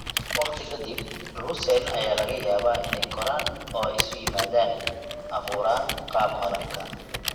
Waqti ka dib, druusen ayaa laga yaabaa inay koraan oo isu yimaadaan, abuuraan qaab malabka.